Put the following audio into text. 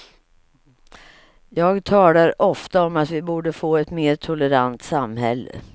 Jag talar ofta om att vi borde få ett mer tolerant samhälle.